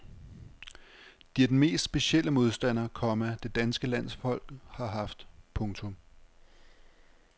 De er den mest specielle modstander, komma det danske landshold har haft. punktum